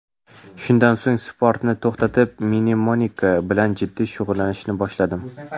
Shundan so‘ng sportni to‘xtatib, mnemonika bilan jiddiy shug‘ullanishni boshladim.